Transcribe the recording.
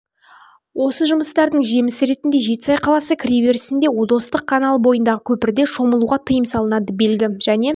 осы жұмыстардың жемісі ретінде жетісай қаласы кіреберісінде достық каналы бойындағы көпірде шомылуға тыйым салынады белгі және